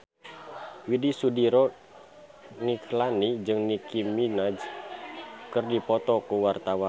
Widy Soediro Nichlany jeung Nicky Minaj keur dipoto ku wartawan